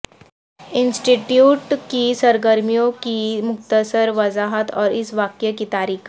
انسٹی ٹیوٹ کی سرگرمیوں کی مختصر وضاحت اور اس واقعہ کی تاریخ